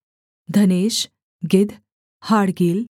धनेश गिद्ध हाड़गील